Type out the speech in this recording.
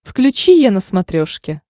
включи е на смотрешке